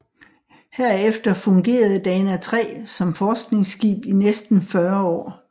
Herefter fungerede Dana III som forskningsskib i næsten 40 år